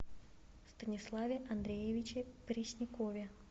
станиславе андреевиче преснякове